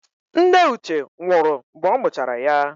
Nne Uche nwụrụ mgbe ọ mụchara ya.